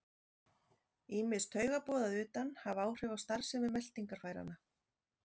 Ýmis taugaboð að utan hafa áhrif á starfsemi meltingarfæranna.